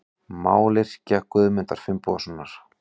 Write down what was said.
Mályrkja Guðmundar Finnbogasonar.